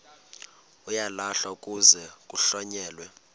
uyalahlwa kuze kuhlonyelwe